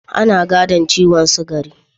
Ana gadon ciwon sugari.